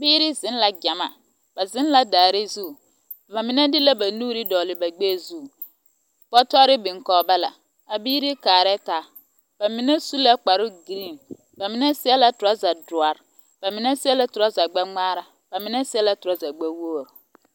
Biiri zeŋ la gyamaa. Ba zeŋ la daare zu. Ba mine de la ba nuuri dͻgele ba gbԑԑ zu. Bͻtͻre biŋ kͻge ba la. A biiri kaarԑԑ taa. Ba mine su la kpare-giriiŋ ka mine seԑ la torͻͻza doͻre, ba mine seԑ la torͻͻza gbԑ-ŋmaara, ba mine seԑ la torͻͻza gbԑwogiri.